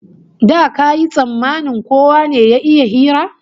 Da kayi tsammanin kowa ne ya iya hira?